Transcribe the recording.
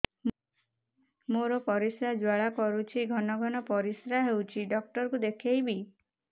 ମୋର ପରିଶ୍ରା ଜ୍ୱାଳା କରୁଛି ଘନ ଘନ ପରିଶ୍ରା ହେଉଛି ଡକ୍ଟର କୁ ଦେଖାଇବି